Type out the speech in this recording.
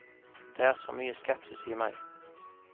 Det er så mye skepsis i meg.